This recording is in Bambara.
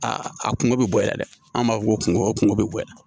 Aa a kungo bɛ bonya dɛ an b'a fɔ ko kungo kungo bɛ bonya